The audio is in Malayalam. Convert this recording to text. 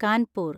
കാൻപൂർ